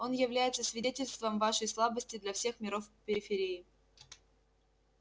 оно является свидетельством вашей слабости для всех миров периферии